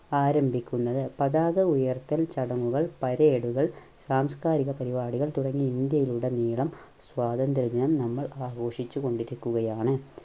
ആരംഭിക്കുന്നത്. പതാക ഉയർത്തൽ ചടങ്ങുകൾ parade കൾ സാംസ്കാരിക പരിപാടികൾ തുടങ്ങി ഇന്ത്യയിലുടനീളം സ്വാതന്ത്ര്യ ദിനം നമ്മൾ ആഘോഷിച്ചു കൊണ്ടിരിക്കുകയാണ്.